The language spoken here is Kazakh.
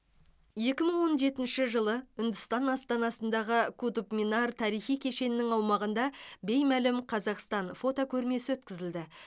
екі мың он жетінші жылы үндістан астанасындағы кутб минар тарихи кешенінің аумағында беймәлім қазақстан фотокөромесі өткізілді